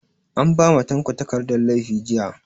An ba ma tanko takardan laifi jiya